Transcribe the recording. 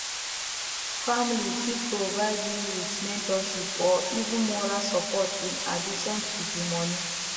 family fit provide you with mentorship or even moral support in addition to di money